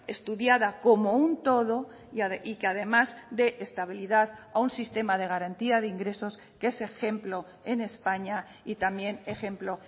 estudiada como un todo y que además dé estabilidad a un sistema de garantía de ingresos que es ejemplo en españa y también ejemplo